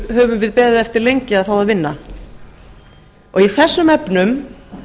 höfum við beðið eftir lengi að fá að vinna í þessum efnum